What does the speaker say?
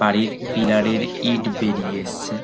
বাড়ির পিলার - এর ইট বেরিয়ে এসছে।